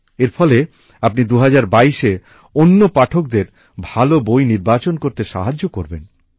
এর ফলে আপনি ২০২২এ অন্য পাঠকদের ভাল বই নির্বাচন করতে সাহায্য করবেন